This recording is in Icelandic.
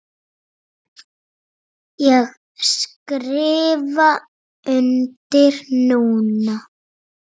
Ég skrifa undir núna.